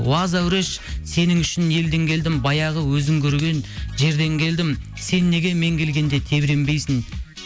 уа зәуреш сенің үшін елден келдім баяғы өзің көрген жерден келдім сен неге мен келгенде тебіренбейсің